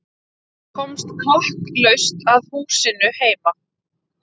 Komst klakklaust að húsinu heima.